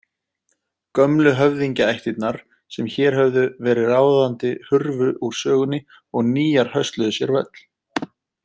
Gömlu höfðingjaættirnar sem hér höfðu verið ráðandi hurfu úr sögunni og nýjar hösluðu sér völl.